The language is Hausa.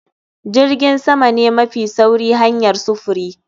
Jirgin sama ne mafi sauri hanyar sufuri